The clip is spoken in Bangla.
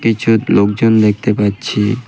ইষৎ লোকজন দেখতে পাচ্ছি।